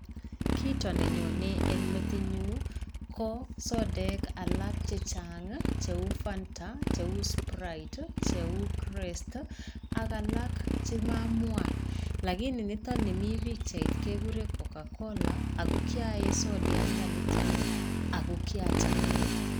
Kito ne nyonei eng metinnyu ko sodek alak chechang cheu fanta cheu sprite cheu krest ak alak che mamwaa. Lakini nito nimii pichait keguree cocacola ago kyaee sodiatnda nitoo ako kiacham.